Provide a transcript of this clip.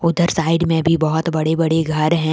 उधर साइड में भी बहुत बड़े बड़े घर हैं।